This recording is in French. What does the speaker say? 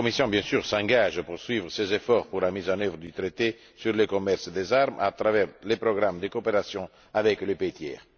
Bien sûr, elle s'engage à poursuivre ses efforts pour la mise en œuvre du traité sur le commerce des armes à travers les programmes de coopération avec les pays tiers.